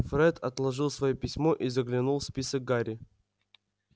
фред отложил своё письмо и заглянул в список гарри